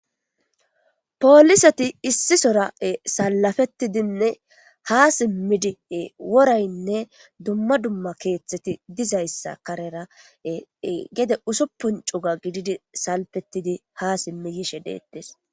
polisati issi sora7e salafettidinne ha simmidi woraynne dumma dumma keeththeti dizayssa karera gede usuppuncuga gididi salpettidi ha simmi yishe deettes